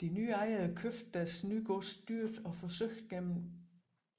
De nye ejere købte deres nye gods dyrt og forsøgte gennem